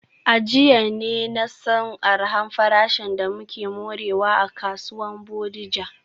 A jiya ne na san arha farashin da muke morewa a kasuwar Bodija.